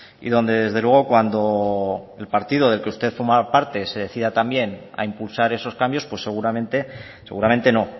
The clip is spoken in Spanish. y donde desde luego cuando el partido del que usted forma parte se decida también a impulsar esos cambios pues seguramente seguramente no